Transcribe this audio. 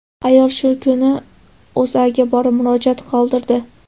Ayol shu kuni O‘zAga borib, murojaat qoldirdi.